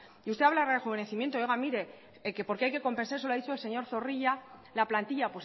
y usted habla de rejuvenecimiento oiga mire que porque hay que compensar lo ha dicho al señor zorrilla la plantilla